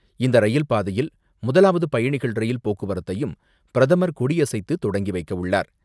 இந்த ரயில் பாதையில் முதலாவது பயணிகள் ரயில் போக்குவரத்தையும் பிரதமர் கொடியசைத்து தொடங்கி வைக்கவுள்ளார்.